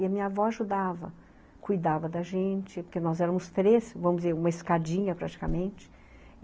E a minha avó ajudava, cuidava da gente, porque nós éramos três, vamos dizer, uma escadinha praticamente.